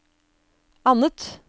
annet